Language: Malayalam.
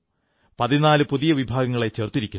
14 പുതിയ വിഭാഗങ്ങളെ ചേർത്തിരിക്കുന്നു